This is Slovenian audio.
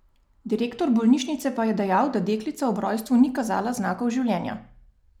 Direktor bolnišnice pa je dejal, da deklica ob rojstvu ni kazala znakov življenja.